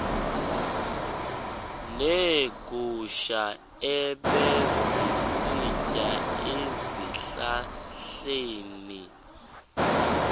neegusha ebezisitya ezihlahleni